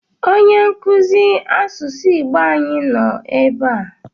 Onye nkụzi asụsụ Igbo ànyị nọ ebe a?